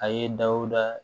A ye dawuda